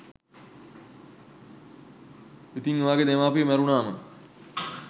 ඉතින් ඔයාගෙ දෙමාපියො මැරුණාම